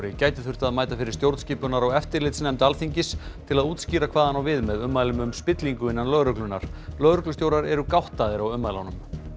gæti þurft að mæta fyrir stjórnskipunar og eftirlitsnefnd Alþingis til að útskýra hvað hann á við með ummælum um spillingu innan lögreglunnar lögreglustjórar eru gáttaðir á ummælunum